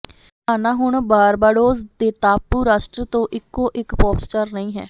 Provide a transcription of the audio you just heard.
Rihanna ਹੁਣ Barbados ਦੇ ਟਾਪੂ ਰਾਸ਼ਟਰ ਤੋਂ ਇਕੋ ਇਕ ਪੋਪ ਸਟਾਰ ਨਹੀਂ ਹੈ